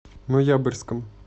ноябрьском